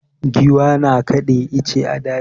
Giwa na kada ice a daji.